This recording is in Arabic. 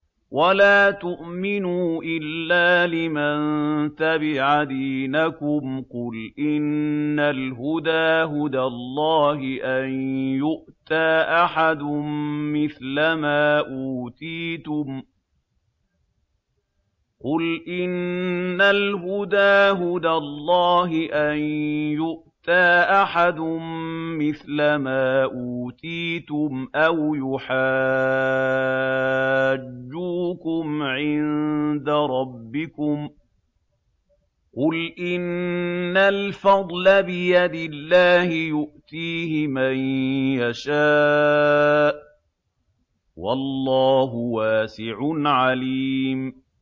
وَلَا تُؤْمِنُوا إِلَّا لِمَن تَبِعَ دِينَكُمْ قُلْ إِنَّ الْهُدَىٰ هُدَى اللَّهِ أَن يُؤْتَىٰ أَحَدٌ مِّثْلَ مَا أُوتِيتُمْ أَوْ يُحَاجُّوكُمْ عِندَ رَبِّكُمْ ۗ قُلْ إِنَّ الْفَضْلَ بِيَدِ اللَّهِ يُؤْتِيهِ مَن يَشَاءُ ۗ وَاللَّهُ وَاسِعٌ عَلِيمٌ